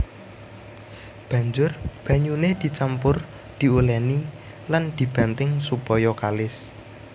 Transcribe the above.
Banjur banyuné dicampur diulèni lan dibanting supaya kalis